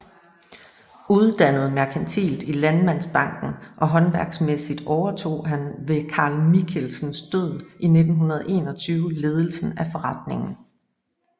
Uddannet merkantilt i Landmandsbanken og håndværksmæssigt overtog han ved Carl Michelsens død i 1921 ledelsen af forretningen